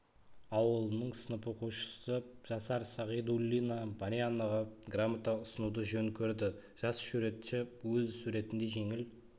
ауылының сынып оқушысы жасар сағидуллина марианаға грамота ұсынуды жөн көрді жас суретші өз суретінде жеңіл